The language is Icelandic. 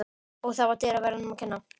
Og það var dyraverðinum að kenna.